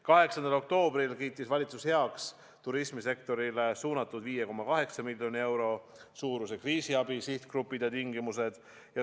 8. oktoobril kiitis valitsus heaks turismisektorile suunatud 5,8 miljoni euro suuruse kriisiabi sihtgrupid ja tingimused.